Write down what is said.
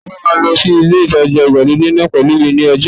Ta ló máa lọ sí ilé ìtajà ìgbàlódé náà pẹ̀lú mi ní ọjọ́ ẹtì